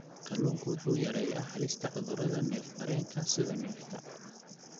Kalluunku wuxuu yareeyaa halista cudurrada neef-mareenka, sida neefta.